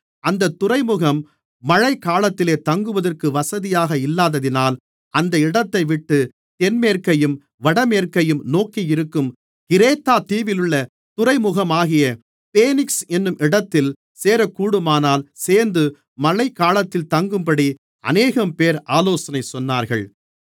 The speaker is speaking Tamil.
அந்தத் துறைமுகம் மழைகாலத்திலே தங்குவதற்கு வசதியாக இல்லாததினால் அந்த இடத்தைவிட்டுத் தென்மேற்கையும் வடமேற்கையும் நோக்கியிருக்கும் கிரேத்தா தீவிலுள்ள துறைமுகமாகிய பேனிக்ஸ் என்னும் இடத்தில் சேரக்கூடுமானால் சேர்ந்து மழைகாலத்தில் தங்கும்படி அநேகம்பேர் ஆலோசனை சொன்னார்கள்